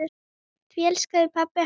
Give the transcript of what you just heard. Því ekki elskaði pabbi hana.